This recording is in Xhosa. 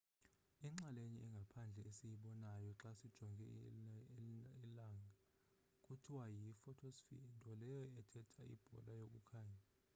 inxalenye engaphandle esiyibonayo xa sijonga ilnaga kuthiwa yi-photosphere nto leyo ethetha ibhola yokukhanya